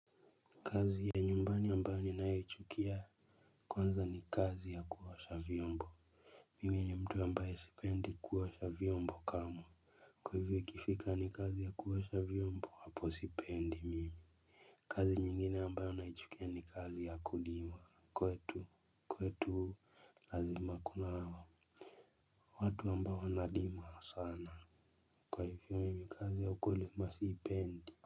Kazi ya nyumbani ambayo ninayoichukia. Kwanza ni kazi ya kuosha vyombo. Mimi ni mtu ambaye sipendi kuosha vyombo kamwe kwa hivyo ikifika ni kazi ya kuosha vyombo hapo sipendi mimi. Kazi nyingine ambayo naichukia ni kazi ya kulima kwetu kwetu lazima kunao watu ambao wanalima sana kwa hivyo mimi kazi ya ukulima siipendi.